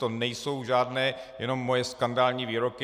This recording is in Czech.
To nejsou žádné jenom moje skandální výroky.